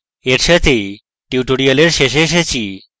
এর সাথেই tutorial শেষে এসেছি